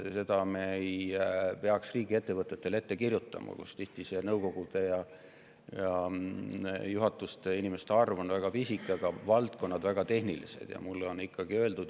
Me ei peaks sellist asja ette kirjutama riigiettevõtetele, kus nõukogu ja juhatuse liikmete arv on tihti väga pisike, aga valdkond väga tehniline.